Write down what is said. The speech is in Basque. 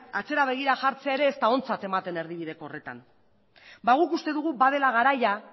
atzera begira jartzea ere ez da ontzat ematen erdibideko horretan guk uste dugu badela garaia